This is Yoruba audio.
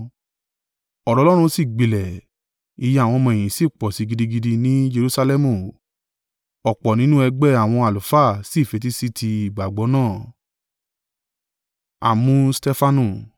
Ọ̀rọ̀ Ọlọ́run sì gbilẹ̀, iye àwọn ọmọ-ẹ̀yìn sì pọ̀ sí i gidigidi ni Jerusalẹmu, ọ̀pọ̀ nínú ẹgbẹ́ àwọn àlùfáà sí fetí sí tí ìgbàgbọ́ náà.